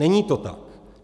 Není to tak.